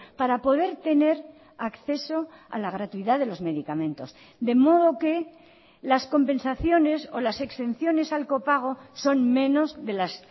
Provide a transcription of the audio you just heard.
para poder tener acceso a la gratuidad de los medicamentos de modo que las compensaciones o las exenciones al copago son menos de las